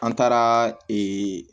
An taara